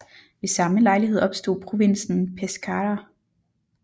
Ved samme lejlighed opstod provinsen Pescara